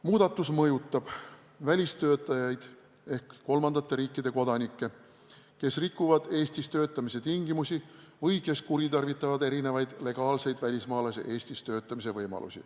Muudatus mõjutab välistöötajaid ehk kolmandate riikide kodanikke, kes rikuvad Eestis töötamise tingimusi või kuritarvitavad erinevaid legaalseid välismaalase Eestis töötamise võimalusi.